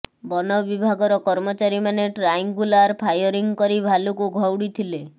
ବନ ବିଭାଗର କର୍ମଚାରୀମାନେ ଟ୍ରାଇଙ୍ଗୁଲାର ଫାୟରିଂ କରି ଭାଲୁକୁ ଘଉଡ଼ି ଥିଲେ